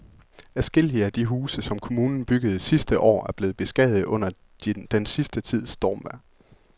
Adskillige af de huse, som kommunen byggede sidste år, er blevet beskadiget under den sidste tids stormvejr.